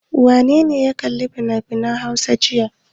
Wane ne ya kalli finafinan Hausa jiya?